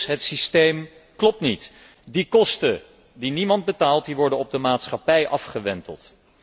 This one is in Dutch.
Dus het systeem klopt niet. Die kosten die niemand betaalt, die worden op de maatschappij afgewenteld.